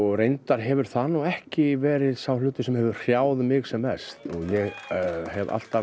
reyndar hefur það ekki verið sá hlutur sem hefur hrjáð mig sem mest ég hef alltaf